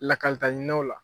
Lakalita ɲininaw la.